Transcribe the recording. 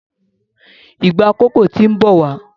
Ìgbà kòkó ti ń bawo.